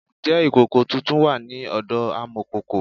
Ǹjẹ́ ìkòkò tuntun wà ní ọ̀dọ amọ̀kòkò?